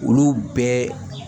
Olu bɛɛ